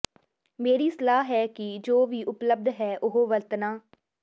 ਮੇਰੀ ਸਲਾਹ ਹੈ ਕਿ ਜੋ ਵੀ ਉਪਲੱਬਧ ਹੈ ਉਹ ਵਰਤਣਾ